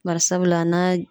Bari sabula n'a